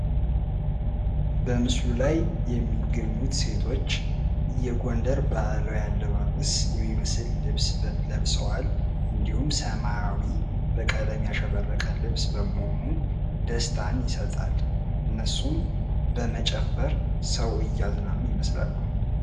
በምስሉ ላይ የምንመለከታቸው ሴቶች የጎንደር ባህላዊ አለባበስ የሚመስል ልብስ ለብሰዋል ።እንድህም ሰማያዊ በቀለም ያሸበረቀ ልብስ በመሆኑ ደስታን ይሰጣል። እነሱም በመጨፈር ሰው እያዝናኑ ይመስላሉ።